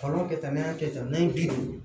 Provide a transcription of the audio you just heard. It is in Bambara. Kalan kɛ tan ni y'a kɛ tan n'a ye bi duuru